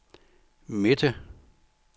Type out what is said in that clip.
midte